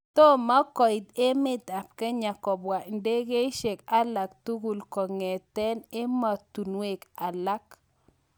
toma koeet emet ap Kenya kobwa indegeisieg alaktugul kongeten ematunwek alag